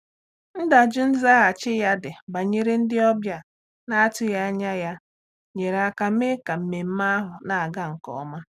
Ndaju nzaghachi ya dị banyere ndị ọbịa na-atụghị anya ya nyere aka mee ka mmemme ahụ na-aga nke ọma.